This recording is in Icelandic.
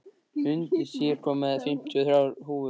Húndís, ég kom með fimmtíu og þrjár húfur!